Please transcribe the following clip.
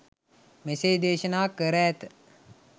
මෙසේ දේශනා කර ඇත.